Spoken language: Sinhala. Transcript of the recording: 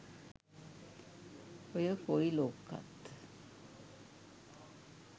ඔය කොයි ලොක්කත්